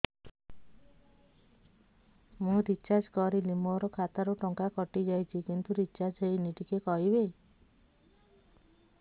ମୁ ରିଚାର୍ଜ କରିଲି ମୋର ଖାତା ରୁ ଟଙ୍କା କଟି ଯାଇଛି କିନ୍ତୁ ରିଚାର୍ଜ ହେଇନି ଟିକେ କହିବେ